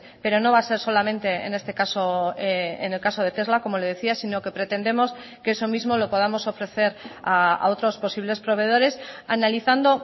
pero no va a ser solamente en este caso en el caso de tesla como le decía sino que pretendemos que eso mismo lo podamos ofrecer a otros posibles proveedores analizando